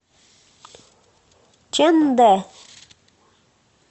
чэндэ